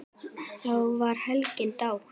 Þá var hlegið dátt.